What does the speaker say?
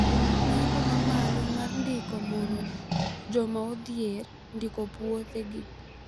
Nengo ma malo mar ndiko mono joma odhier ndiko puothe gi